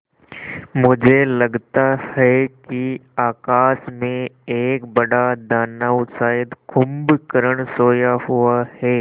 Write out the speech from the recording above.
मुझे लगता है कि आकाश में एक बड़ा दानव शायद कुंभकर्ण सोया हुआ है